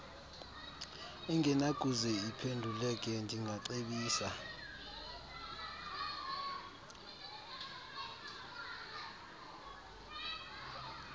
engenakuze iphenduleke ndingacebisa